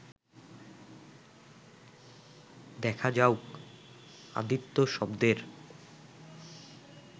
দেখা যাউক আদিত্য শব্দের